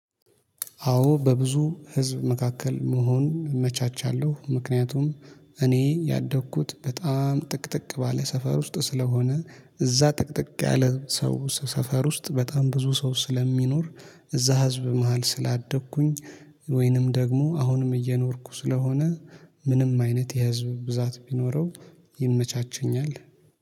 አዎ በብዙ ህዝብ መካከል መሆን እመቻቻለሁ ምክንያቱም እኔ ያደግኩት በጣም ጥቅጥቅ ባለ ሰፈር ውስጥ ስለሆነ እዛ ጥቅጥቅ ያለ ሰው ሰፈር ውስጥ በጣም ብዙ ሰው ስለሚኖር እዛ ህዝብ መሃል ስላደግኩኝ ወይንም ደግሞ አሁንም እየኖርኩ ስለሆነ ምንም አይነት የህዝብ ብዛት ቢኖረው ይመቻቸኛል